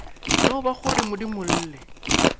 no ba go re modimolle